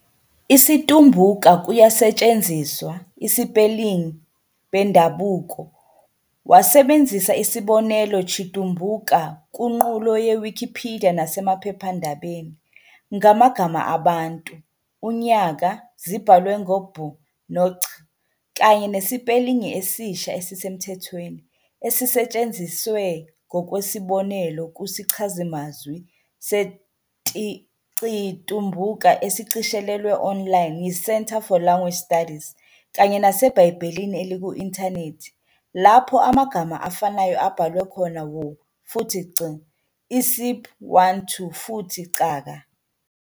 Isi-Tumbuka kuyasetshenziswa - isipelingi bendabuko, wasebenzisa isibonelo Chitumbuka nguqulo ye Wikipedia nasemaphephandabeni, ngamagama 'abantu' 'unyaka' zibhalwe ngo-'b' no 'ch', kanye nesipelingi esisha esisemthethweni, esisetshenziswe ngokwesibonelo kusichazamazwi seCitumbuka esishicilelwe online yiCentre for Language Studies kanye naseBhayibhelini eliku-inthanethi, lapho amagama afanayo abhalwe khona 'W' futhi 'c', isib "ŵanthu" futhi "caka."